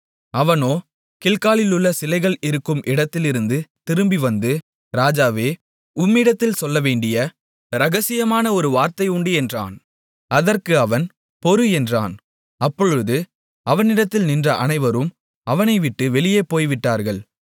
அவனோ கில்காலிலுள்ள சிலைகள் இருக்கும் இடத்திலிருந்து திரும்பிவந்து ராஜாவே உம்மிடத்தில் சொல்லவேண்டிய இரகசியமான ஒரு வார்த்தை உண்டு என்றான் அதற்கு அவன் பொறு என்றான் அப்பொழுது அவனிடத்தில் நின்ற அனைவரும் அவனை விட்டு வெளியே போய்விட்டார்கள்